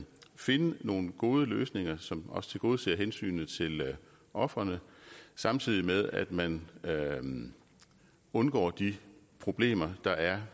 finde nogle gode løsninger som også tilgodeser hensynet til ofrene samtidig med at man undgår de problemer der er